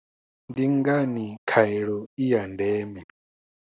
Ndi ngani khaelo i ya ndeme?